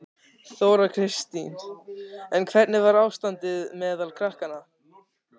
Þóra Kristín: En hvernig var ástandið meðal krakkanna?